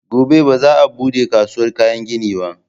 Gobe ba za a buɗe kasuwar kayan gini ba